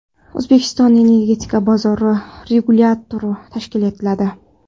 O‘zbekistonda Energetika bozori regulyatori tashkil etiladi.